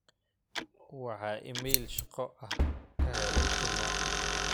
waxa iimaylo shaqo ah ka helay juma